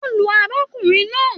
Wọn lu arákùnrin náà.